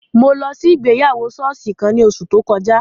Mo lọ si igbeyawo sooṣi kan ni oṣu to kọja